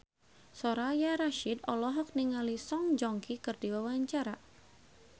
Soraya Rasyid olohok ningali Song Joong Ki keur diwawancara